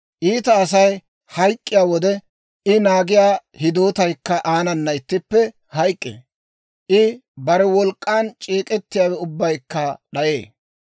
Iita Asay hayk'k'iyaa wode, I naagiyaa hidootaykka aanana ittippe hayk'k'ee; I bare wolk'k'an c'eek'ettiyaawe ubbaykka d'ayee.